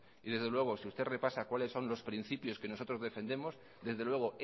y desde luego si usted repasa cuáles son los principios que nosotros defendemos desde luego